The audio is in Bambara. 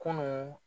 Kunun